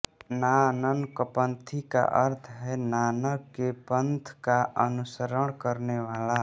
नाननकपन्थी का अर्थ है नानक के पन्थ का अनुसरण करने वाला